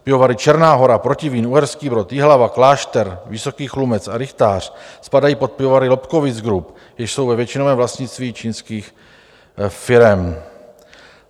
Pivovary Černá Hora, Protivín, Uherský Brod, Jihlava, Klášter, Vysoký Chlumec a Rychtář spadají pod pivovary Lobkowicz Group, jež jsou ve většinovém vlastnictví čínských firem.